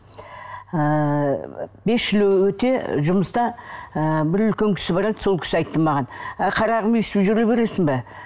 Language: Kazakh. ыыы бес жыл өте жұмыста ыыы бір үлкен кісі бар еді сол кісі айтты маған әй қарағым өстіп жүре бересің бе